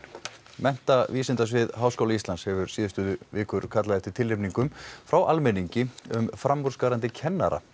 menntavísindasvið Háskóla Íslands hefur síðustu vikur kallað eftir tilnefningum frá almenningi um framúrskarandi kennara